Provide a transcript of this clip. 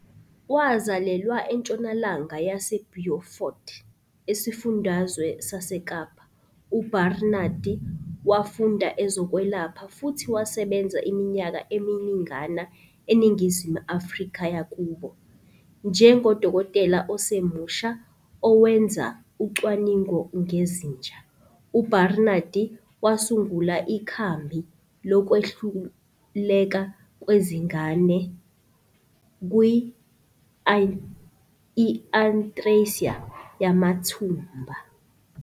Wazalelwa entshonalanga yase Beaufort, esifundazweni saseKapa, uBarnard wafunda ezokwelapha futhi wasebenza iminyaka eminingana eNingizimu Afrika yakubo. Njengodokotela osemusha owenza ucwaningo ngezinja, uBarnard wasungula ikhambi lokwehluleka kwezingane kwe-i-atresia yamathumbu.